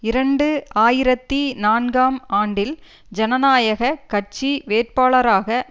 இரண்டு ஆயிரத்தி நான்காம் ஆண்டில் ஜனநாயக கட்சி வேட்பாளராக